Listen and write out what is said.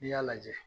N'i y'a lajɛ